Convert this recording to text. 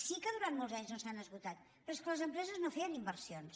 sí que durant molts anys no s’han esgotat però és que les empreses no feien inversions